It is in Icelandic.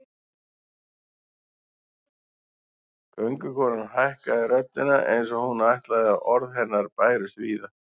Göngukonan hækkaði röddina eins og hún vildi að orð hennar bærust víða